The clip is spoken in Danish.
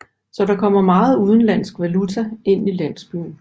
Så der kommer meget udlands valuta ind i landsbyen